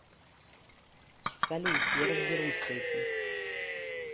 салют я разберусь с этим